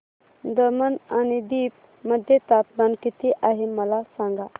दमण आणि दीव मध्ये तापमान किती आहे मला सांगा